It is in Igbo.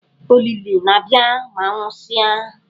Ólílì na-abịa ma a nwụsịa.